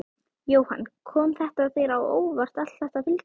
Jóhann: Kom þetta þér á óvart allt þetta fylgi?